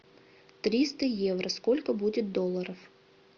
триста евро сколько будет долларов